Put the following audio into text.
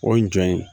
O ye jɔn ye